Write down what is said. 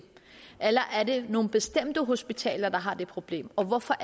eller er det nogle bestemte hospitaler der har det problem og hvorfor